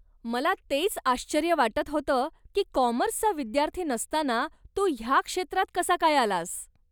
मला तेच आश्चर्य वाटत होतं की कॉमर्सचा विद्यार्थी नसताना तू ह्या क्षेत्रात कसा काय आलास.